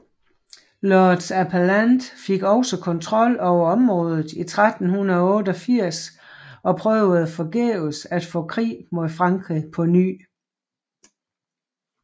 Lords Appellant fik også kontrol over rådet i 1388 og prøvede forgæves at få krig mod Frankrig på ny